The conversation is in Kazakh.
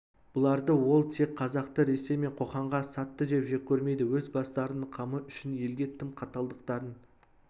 бұларды ол тек қазақты ресей мен қоқанға сатты деп жек көрмейді өз бастарының қамы үшін елге тым қаталдықтарын